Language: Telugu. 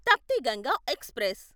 తప్తి గంగా ఎక్స్ప్రెస్